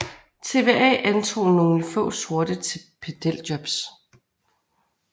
TVA antog nogle få sorte til pedeljobs